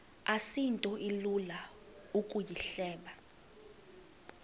asinto ilula ukuyihleba